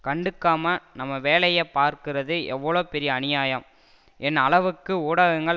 கண்டுக்காம நம்ம வேலையப் பார்க்குறது எவ்வளவு பெரிய அநியாயம் என் அளவுக்கு ஊடகங்கள்